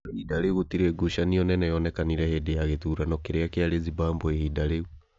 Kwa ihinda rĩu gũtirĩ ngucanio nene yonekire hĩndĩ ya gĩthurano kĩrĩa kĩarĩ Zimbabwe ihinda rĩu.